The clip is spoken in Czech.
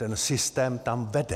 Ten systém tam vede.